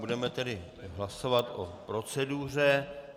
Budeme tedy hlasovat o proceduře.